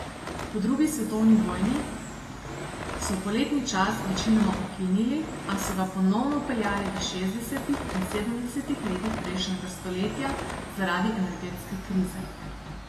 Po drugi svetovni vojni so poletni čas večinoma ukinili, a so ga ponovno vpeljali v šestdesetih in sedemdesetih letih prejšnjega stoletja zaradi energetske krize.